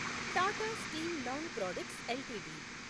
Tata steel long products LTD